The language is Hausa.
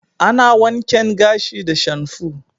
Ana wanken gashi da shamfu.